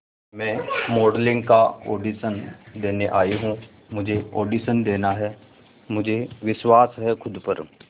मैं मॉडलिंग का ऑडिशन देने आई हूं मुझे ऑडिशन देना है मुझे विश्वास है खुद पर